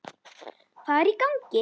Hvað er í gangi!